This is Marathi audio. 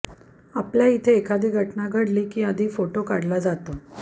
आपल्या इथे एखादी घटना घडली की आधी फोटो काढला जातो